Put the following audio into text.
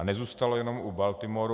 A nezůstalo jenom u Baltimoru.